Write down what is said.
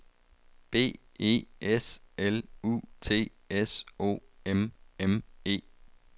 B E S L U T S O M M E